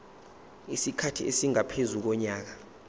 isikhathi esingaphezu konyaka